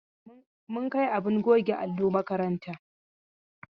Mun kai abin goge allo makaranta.